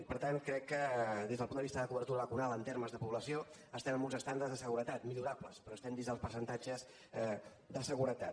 per tant crec que des del punt de vista de cobertura vacunal en termes de població estem en uns estàndards de seguretat millorables però estem dins dels percentatges de seguretat